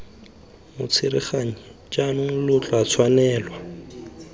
motsereganyi jaanong lo tla tshwanelwa